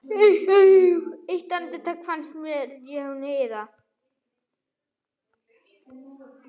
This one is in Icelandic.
Eitt andartak fannst mér eins og hún iðaði.